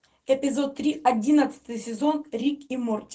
эпизод три одиннадцатый сезон рик и морти